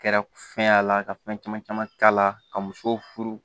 Kɛra fɛn y'a la ka fɛn caman caman k'a la ka muso furu